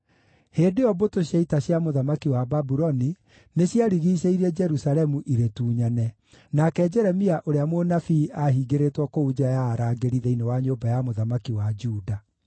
Hĩndĩ ĩyo mbũtũ cia ita cia mũthamaki wa Babuloni nĩciarigiicĩirie Jerusalemu irĩtunyane, nake Jeremia ũrĩa mũnabii aahingĩrĩtwo kũu nja ya arangĩri thĩinĩ wa nyũmba ya mũthamaki wa Juda.